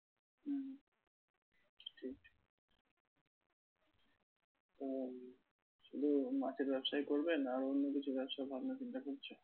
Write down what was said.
শুধু মাছের ব্যবসাই করবে না আরো অন্য কিছু ব্যবসার ভাবনা চিন্তা করছো?